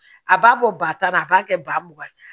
A b'a bɔ ba tan na a b'a kɛ ba ye